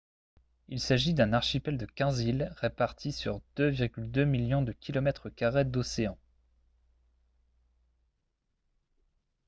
il s'agit d'un archipel de 15 îles réparties sur 2,2 millions de km carrés d'océan